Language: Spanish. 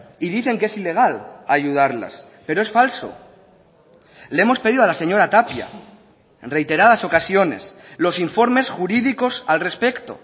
y dicen que es ilegal ayudarlas pero es falso le hemos pedido a la señora tapia en reiteradas ocasiones los informes jurídicos al respecto